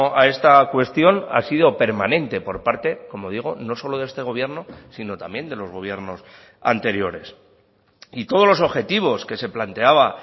a esta cuestión ha sido permanente por parte como digo no solo de este gobierno sino también de los gobiernos anteriores y todos los objetivos que se planteaba